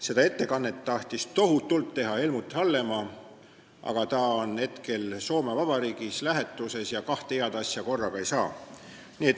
Seda ettekannet tahtis tohutult teha Helmut Hallemaa, aga ta on Soome Vabariigis lähetuses ja kahte head asja korraga ei saa.